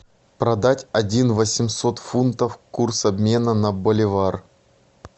продать один восемьсот фунтов курс обмена на боливар